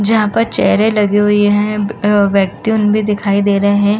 जहाँ पर चेयरें लगी हुई हैं। अ व्यक्ति उन भी दिखाई दे रहे हैं।